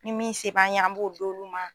Ni min se b'an ye an b'o d'olu ma.